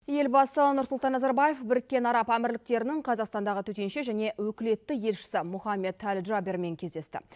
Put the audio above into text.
елбасы нұрсұлтан назарбаев біріккен араб әмірліктерінің қазақстандағы төтенше және өкілетті елшісі мохаммад әл джабермен кездесті